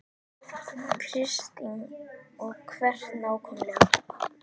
Kristín: Og hvert nákvæmlega?